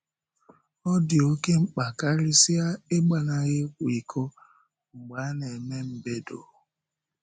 Ọ dị oké mkpa karịsịa ‘ị̀gbanahụ ị̀kwa íkò’ mgbe a na-eme mbèdo.